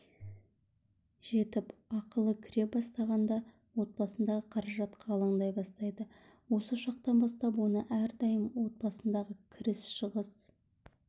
жетіп ақылы кіре бастағанда отбасындағы қаражатқа алаңдай бастайды осы шақтан бастап оны әрдайым отбасындағы кіріс-шығыс